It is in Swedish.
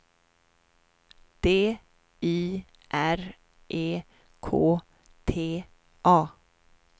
D I R E K T A